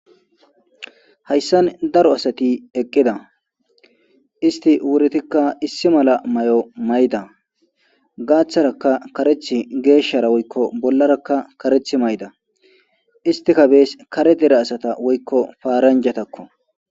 Hayssan daro asati eqqida isti wuritikka issi mala may'o mayda gaaththaraka kareethth geeshshara woykko bollarakka kareth mayda istika bees kare dere asata woykko paaranjatakko